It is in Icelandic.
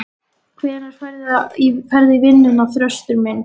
Hvenær ferðu í vinnuna, Þröstur minn?